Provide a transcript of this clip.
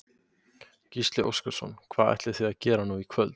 Gísli Óskarsson: Hvað ætlið þið að gera nú í kvöld?